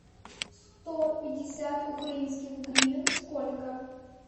сто пятьдесят украинских гривен сколько